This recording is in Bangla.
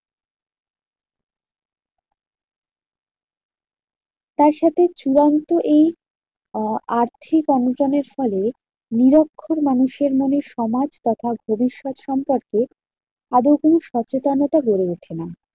তার সাথে চূড়ান্ত এই আহ আর্থিক অনটনের ফলে নিরক্ষর মানুষের মনে সমাজ তথা ভবিষ্যত সম্পর্কে অবৈতনিক সচেতনতা বেড়ে উঠে না।